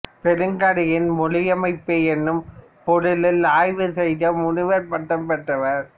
பெருங்கதையின் மொழியமைப்பு என்னும் பொருளில் ஆய்வு செய்து முனைவர் பட்டம் பெற்றவர்